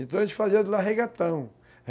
Então a gente fazia de lá regatão.